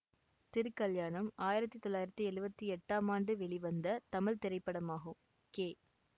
திருக்கல்யாணம் ஆயிரத்தி தொள்ளாயிரத்தி எழுவத்தி எட்டாம் ஆண்டு வெளிவந்த தமிழ் திரைப்படமாகும் கே